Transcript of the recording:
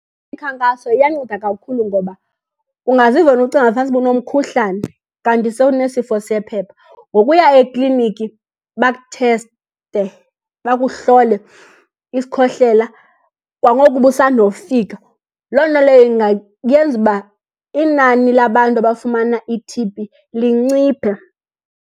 Imikhankaso iyanceda kakhulu ngoba ungaziva wena ucinge fanisa uba unomkhuhlane kanti sewunesifo sephepha. Ngokuya ekliniki bakutheste, bakuhlole isikhohlela kwangoku ubusandofika, loo nto leyo ingayenza uba inani labantu abafumana iT_B linciphe.